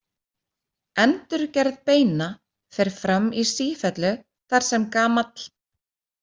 Endurgerð beina fer fram í sífellu þar sem gamall.